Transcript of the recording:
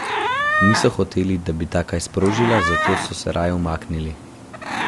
Niso hoteli, da bi ta kaj sprožila, zato so se raje umaknili.